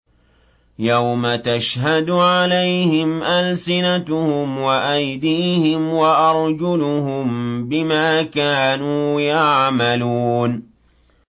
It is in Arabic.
يَوْمَ تَشْهَدُ عَلَيْهِمْ أَلْسِنَتُهُمْ وَأَيْدِيهِمْ وَأَرْجُلُهُم بِمَا كَانُوا يَعْمَلُونَ